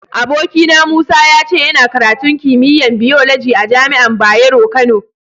Abokina Musa, ya ce yana karatun kimiyya'n biyoloji a'jami'an Bayero Kano.